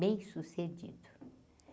Bem sucedido.